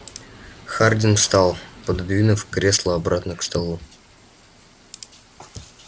хардин встал пододвинув кресло обратно к столу